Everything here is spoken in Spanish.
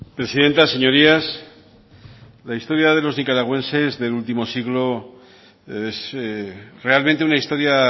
presidenta señorías la historia de los nicaragüenses del último siglo es realmente una historia